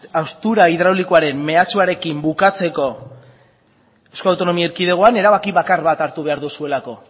haustura hidraulikoaren mehatxuarekin bukatzeko euskal autonomia erkidegoan erabaki bakar bat hartu behar duzuelako